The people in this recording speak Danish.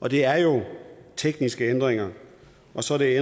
og det er tekniske ændringer og så er